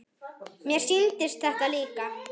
Mér sýndist þetta líka.